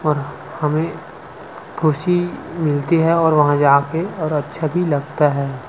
और हमें खुशी मिलती है और वहां जाकर और अच्छा भी लगता है।